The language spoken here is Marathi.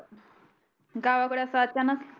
गावाकडे अस अचानक